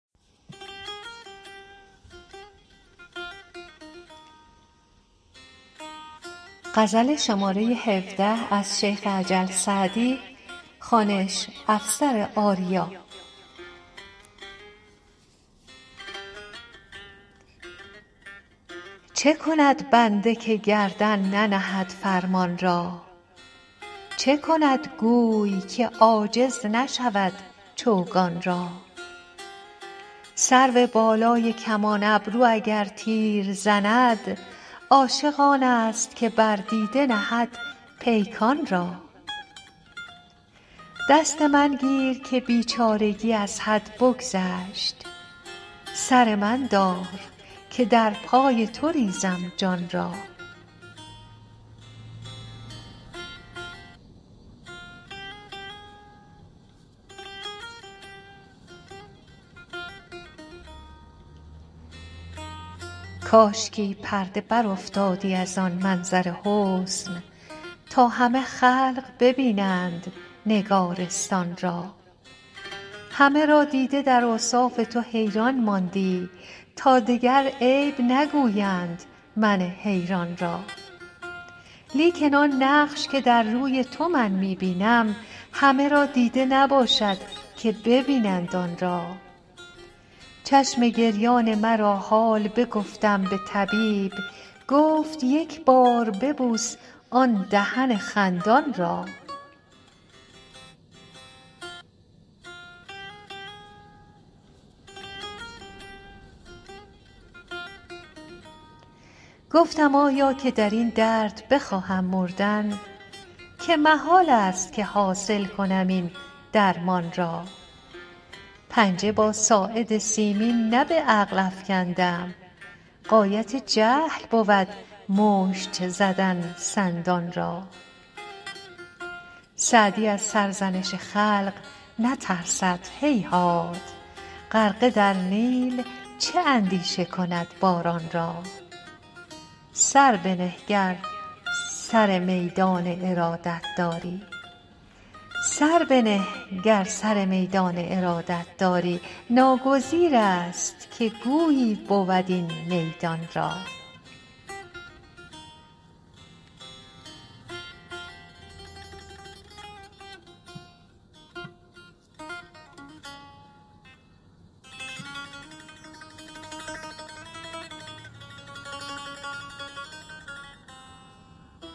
چه کند بنده که گردن ننهد فرمان را چه کند گوی که عاجز نشود چوگان را سروبالای کمان ابرو اگر تیر زند عاشق آنست که بر دیده نهد پیکان را دست من گیر که بیچارگی از حد بگذشت سر من دار که در پای تو ریزم جان را کاشکی پرده برافتادی از آن منظر حسن تا همه خلق ببینند نگارستان را همه را دیده در اوصاف تو حیران ماندی تا دگر عیب نگویند من حیران را لیکن آن نقش که در روی تو من می بینم همه را دیده نباشد که ببینند آن را چشم گریان مرا حال بگفتم به طبیب گفت یک بار ببوس آن دهن خندان را گفتم آیا که در این درد بخواهم مردن که محالست که حاصل کنم این درمان را پنجه با ساعد سیمین نه به عقل افکندم غایت جهل بود مشت زدن سندان را سعدی از سرزنش خلق نترسد هیهات غرقه در نیل چه اندیشه کند باران را سر بنه گر سر میدان ارادت داری ناگزیرست که گویی بود این میدان را